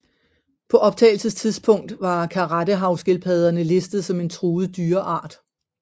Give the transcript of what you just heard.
På optagelsestidspunkt var karettehavskildpadderne listet som en truet dyreart